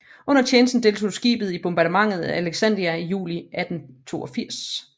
Under tjenesten deltog skibet i bombardementet af Alexandria i juli 1882